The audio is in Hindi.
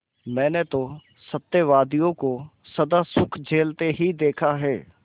मैंने तो सत्यवादियों को सदा दुःख झेलते ही देखा है